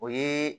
O ye